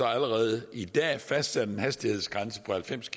allerede i dag fastsat en hastighedsgrænse på halvfems